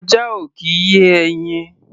Ajá ò kì í yé ẹyin.